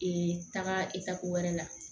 taga i ka ko wɛrɛ la